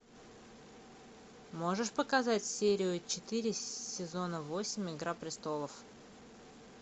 можешь показать серию четыре сезона восемь игра престолов